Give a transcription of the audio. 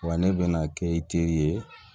Wa ne bɛna kɛ i teri ye